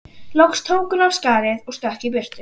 Loks tók hún af skarið og stökk í burtu.